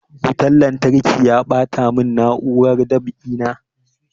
Wutan lantarki ya ɓata mun na'urar dab'i na